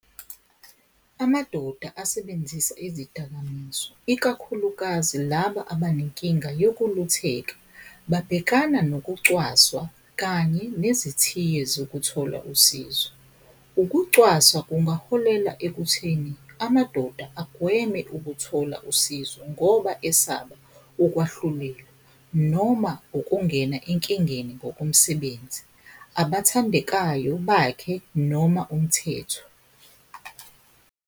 Amadoda asebenzisa izidakamizwa ikakhulukazi laba abanenkinga yokulutheka, babhekana nokucwaswa kanye nezithiyo zokuthola usizo. Ukucwaswa kungaholela ekutheni amadoda agweme ukuthola usizo, ngoba esaba ukwahlulelwa noma ukungena enkingeni ngokomsebenzi, abathandekayo bakhe noma umthetho.